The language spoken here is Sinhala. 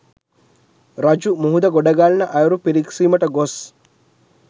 රජු මුහුද ගොඩගලන අයුරු පිරීක්සීමට ගොස්